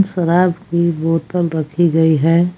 शराब की बोतल रखी गई है।